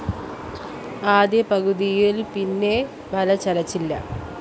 ആദ്യ പകുതിയില്‍ പിന്നെ വല ചലിച്ചില്ല